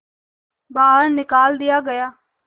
बाहर निकाल दिया गया